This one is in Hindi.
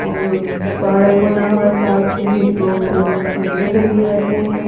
और पाड़क बना हुआ साथी लोग इधर खाने के लिए आते हैं।